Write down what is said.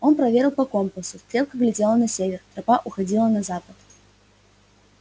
он проверил по компасу стрелка глядела на север тропа уходила на запад